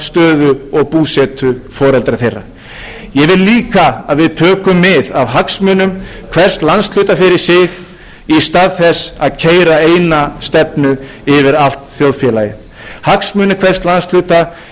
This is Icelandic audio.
stöðu og búsetu foreldra þeirra ég vil líka að við tökum mið af hagsmunum hvers landshluta fyrir sig í stað þess að keyra eina stefnu yfir allt þjóðfélagið hagsmunir hvers landshluta eru mismunandi og við eigum að vinna út frá